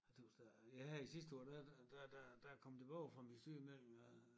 Jeg tøs da ja her i sidste år da da da da da a kom tilbage fra min sygemelding øh